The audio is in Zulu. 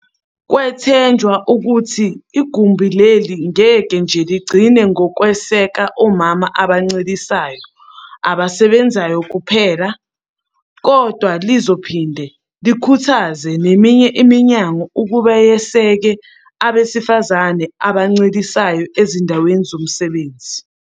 Kwethenjwa ukuthi igumbi leli ngeke nje ligcine ngokweseka omama abancelisayo abasebenzayo kuphela, kodwa lizophinde likhuthaze neminye iminyango ukuba yeseke abesifazane abancelisayo ezindaweni zomsebenzi.